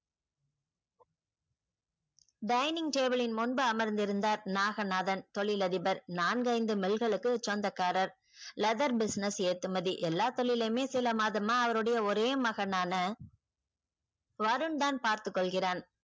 dinning table லின் முன்பு அமர்ந்திருந்தார் நாகநாதன் தொழிலதிபர் நான்கைந்து மில்களுக்கு சொந்தக்காரர் leather business ஏற்றுமதி எல்லா தொழிலுமே சில மாதமா அவருடைய ஒரே மகனான வருண் தான் பார்த்துக்கொள்கிறான்.